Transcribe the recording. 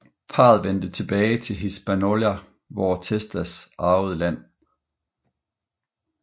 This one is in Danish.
Parret vendte tilbage til Hispaniola hvor Testas arvede land